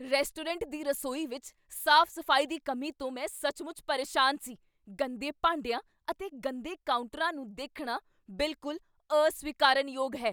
restaurant ਦੀ ਰਸੋਈ ਵਿੱਚ ਸਾਫ਼ ਸਫ਼ਾਈ ਦੀ ਕਮੀ ਤੋਂ ਮੈਂ ਸੱਚਮੁੱਚ ਪਰੇਸ਼ਾਨ ਸੀ ਗੰਦੇ ਭਾਡਿਆਂ ਅਤੇ ਗੰਦੇ ਕਾਊਂਟਰਾਂ ਨੂੰ ਦੇਖਣਾ ਬਿਲਕੁਲ ਅਸਵੀਕਾਰਨਯੋਗ ਹੈ